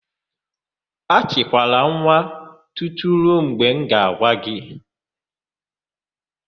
Achịkwala nwa tutu ruo mgbe m ga-agwa gị!